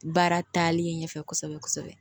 Baara taalen ɲɛfɛ kosɛbɛ kosɛbɛ